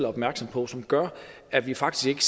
opmærksomme på som gør at vi faktisk